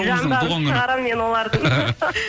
жандарын шығарамын мен олардың